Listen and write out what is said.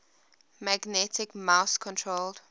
magnetic mouse controlled